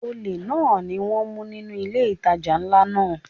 Olè náà ni wón mú nínú ilé ìtajà ńlá náà.